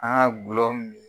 An ka gulɔ min.